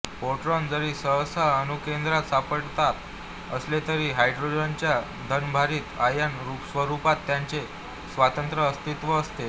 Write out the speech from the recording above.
proton जरी सहसा अणुकेंद्रात सापडत असले तरी हायड्रोजनच्या धनभारित आयन स्वरुपात त्यांचे स्वतंत्र अस्तित्व असते